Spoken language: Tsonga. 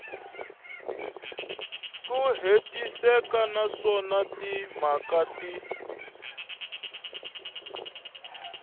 ku hetiseka naswona timhaka ti